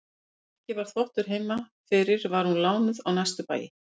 Þegar ekki var þvottur heima fyrir var hún lánuð á næstu bæi.